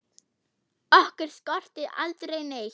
Okkur skorti aldrei neitt.